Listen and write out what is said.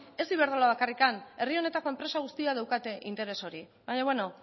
ez iberdrola bakarrika herri honetako enpresa guztiak daukate interes hor baina bueno